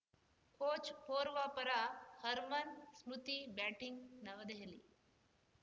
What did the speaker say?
coach Powar ಪರ Harman Smriti batting ನವದೆಹಲಿ